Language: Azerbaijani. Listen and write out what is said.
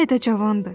Hələ də cavandır.